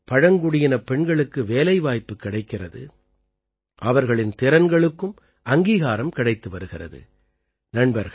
இதனால் பழங்குடியினப் பெண்களுக்கு வேலைவாய்ப்பு கிடைக்கிறது அவர்களின் திறன்களுக்கும் அங்கீகாரம் கிடைத்து வருகிறது